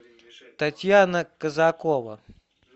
татьяна казакова